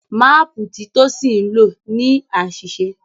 Máàpù tí Tosin nlọ ní àṣìṣe.